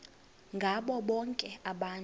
ngabo bonke abantu